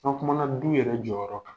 An kumana du yɛrɛ jɔyɔrɔ kan